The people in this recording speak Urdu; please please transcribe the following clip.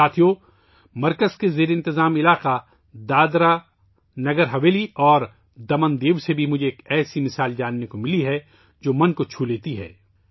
ساتھیو ، مجھے مرکز کے زیر انتظام علاقوں دادر نگر حویلی اور دمن دیو سے بھی ایسی مثال ملی ہے، جو دل کو چھو لیتی ہے